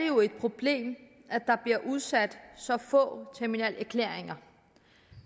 jo et problem at der bliver udstedt så få terminalerklæringer